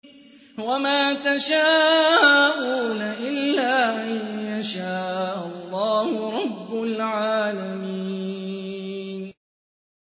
وَمَا تَشَاءُونَ إِلَّا أَن يَشَاءَ اللَّهُ رَبُّ الْعَالَمِينَ